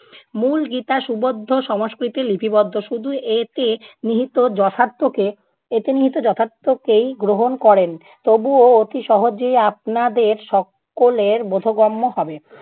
মূল গীতা সুবদ্ধ সংস্কৃতে লিপিবদ্ধ, শুধু এতে নিহিত যথার্থকে এতে নিহিত যথার্থকেই গ্রহণ করেন তবুও অতি সহজেই আপনাদের সকলের বোধগম্য হবে।